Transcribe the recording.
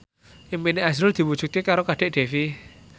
impine azrul diwujudke karo Kadek Devi